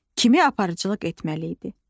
kimi aparıcılıq etməli idi.